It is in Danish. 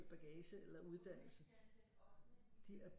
Bagage eller uddannelse de er